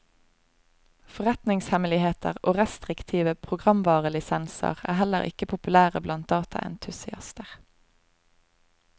Forretningshemmeligheter og restriktive programvarelisenser er heller ikke populære blant dataentusiaster.